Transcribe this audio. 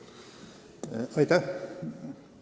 Aitäh!